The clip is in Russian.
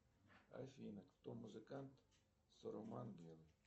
афина кто музыкант